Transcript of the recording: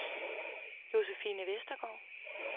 Josefine Westergaard